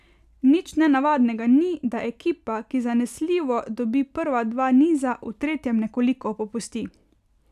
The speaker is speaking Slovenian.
Nič nenavadnega ni, da ekipa, ki zanesljivo dobi prva dva niza, v tretjem nekoliko popusti.